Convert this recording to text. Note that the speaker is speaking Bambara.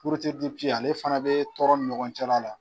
ale fana bɛ tɔrɔn ni ɲɔgɔn cɛla la